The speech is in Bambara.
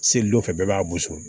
Seli dɔ fɛ bɛɛ b'a gosi